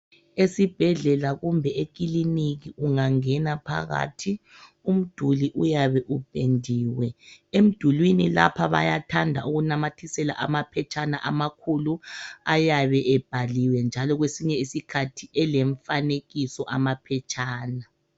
Esibhedlela kumbe ekiliniki ungangena phakathi umduli uyabe upendiwe. Emdulini lapha bayathanda ukunamathisela amaphetshana amakhulu ayabe ebhaliwe njalo kwesinye isikhathi elemfanekiso amaphetshana.